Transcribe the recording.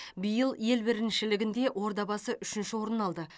биыл ел біріншілігінде ордабасы үшінші орын алды